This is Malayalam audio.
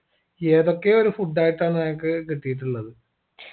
ഏതൊക്കെ ഒരു food ആയിട്ടാണ് ഞങ്ങക്ക് കിട്ടീട്ടുള്ളത്